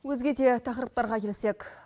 өзге де тақырыптарға келсек